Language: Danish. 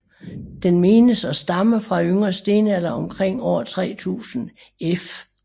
Den menes at stamme fra yngre stenalder omkring år 3000 f